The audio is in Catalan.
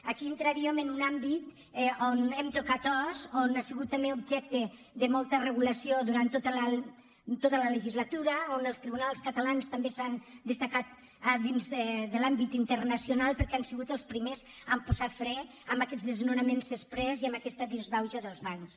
aquí entraríem en un àmbit on hem tocat os on ha sigut també objecte de molta regulació durant tota la legislatura on els tribunals catalans també s’han destacat dins de l’àmbit internacional perquè han sigut els primers a posar fre a aquests desnonaments exprés i a aquesta disbauxa dels bancs